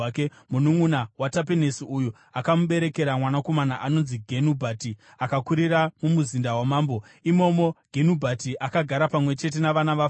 Mununʼuna waTapenesi uyu akamuberekera mwanakomana anonzi Genubhati, akakurira mumuzinda wamambo. Imomo, Genubhati akagara pamwe chete navana vaFaro.